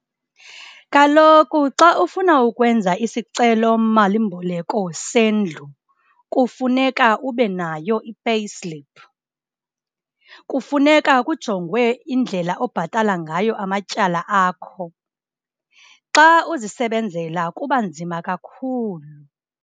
Kaloku xa ufuna ukwenza isicelo malimboleko sendlu kufuneka ube nayo i-payslip, kufuneka kujongwe indlela obhatala ngayo amatyala akho, xa uzisebenzela kuba nzima kakhulu.